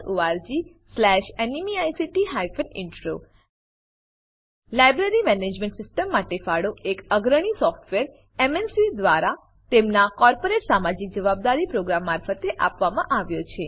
httpspoken tutorialorgNMEICT Intro library management system માટે ફાળો એક અગ્રણી સોફ્ટવેર એમએનસી દ્વારા તેમનાં કોર્પોરેટ સામાજિક જવાબદારી પ્રોગ્રામ મારફતે આપવામાં આવ્યો છે